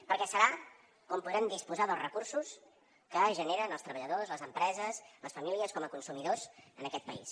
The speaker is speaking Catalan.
perquè serà on podrem disposar dels recursos que generen els treballadors les empreses les famílies com a consumidors en aquest país